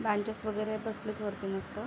Benches वगैरेत बसलेत वरती मस्त.